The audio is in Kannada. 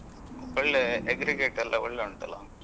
ಒಳ್ಳೆ aggregate ಎಲ್ಲ ಒಳ್ಳೆ ಉಂಟಲ್ಲ?